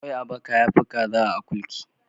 Ƙwai a baka yafi kaza a akurki